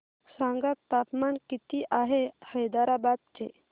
सांगा तापमान किती आहे हैदराबाद चे